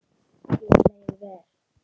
Þér leið vel.